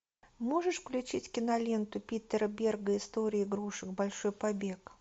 можешь включить киноленту питора берга история игрушек большой побег